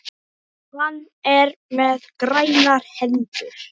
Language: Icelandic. Hann er með grænar hendur.